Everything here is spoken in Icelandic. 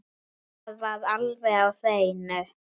Það var alveg á hreinu!